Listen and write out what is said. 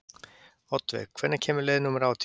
Oddveig, hvenær kemur leið númer átján?